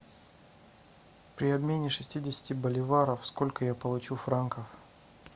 при обмене шестидесяти боливаров сколько я получу франков